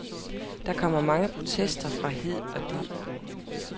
Der kom mange protester fra hid og did.